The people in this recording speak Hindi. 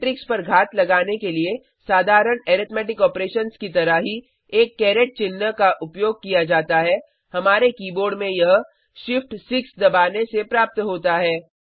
मेट्रिक्स पर घात लगाने के लिए साधारण अरिथ्मैटिक ऑपरेशंस की तरह ही एक कैरेट चिन्ह का उपयोग किया जाता है हमारे कीबोर्ड में यह shift6 दबाने से प्राप्त होता है